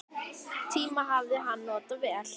Tímann hafði hann notað vel.